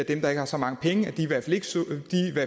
dem der ikke har så mange penge i hvert vi